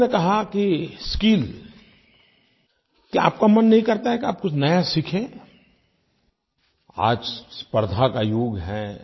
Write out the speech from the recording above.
दूसरा मैंने कहा कि स्किल क्या आपका मन नहीं करता कि आप कुछ नया सीखें आज स्पर्द्धा का युग है